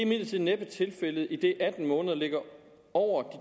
imidlertid næppe er tilfældet idet atten måneder ligger over de